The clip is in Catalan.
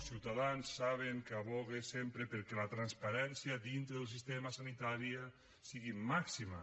ciutadans saben que advoca sempre perquè la transparència dintre del sistema sanitari sigui màxima